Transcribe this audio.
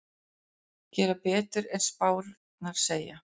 Gera betur en spárnar segja